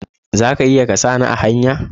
Za ka iya ka sa ni a hanya?